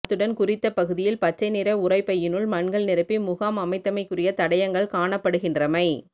அத்துடன் குறித்த பகுதியில் பச்சை நிற உரை பையினுள் மண்கள் நிரப்பி முகாம் அமைத்தமைக்குரிய தடயங்கள் காணப்படுகின்றமை